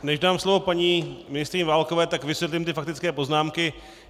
Než dám slovo paní ministryni Válkové, tak vysvětlím ty faktické poznámky.